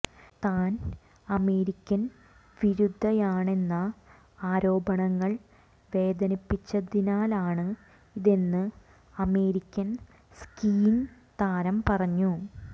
താൻ അമേരിക്കൻ വിരുദ്ധയാണെന്ന ആരോപണങ്ങൾ വേദനിപ്പിച്ചതിനാലാണ് ഇതെന്ന് അമേരിക്കൻ സ്കീയിംഗ് താരം പറഞ്ഞു